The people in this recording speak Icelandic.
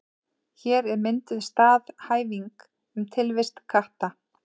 Hér er mynduð staðhæfing um tilvist katta.